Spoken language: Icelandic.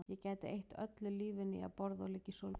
Ég gæti eytt öllu lífinu í að borða og liggja í sólbaði